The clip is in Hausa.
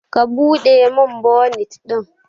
Ka Bude min bonit din!